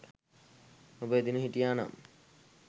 ඔබ එදින හිටියා නම්